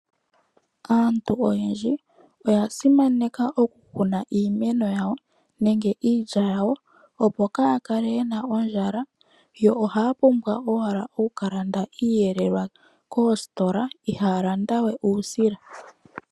Aantu oyendji oya simaneka okukuna iimeno yawo nenge iilya yawo opo kaayakale yena ondjala ohaya pumbwa owala yaka lande iihelelwa yawo koositola ohaya kalanda owala uusila.